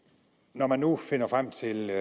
når man nu finder frem til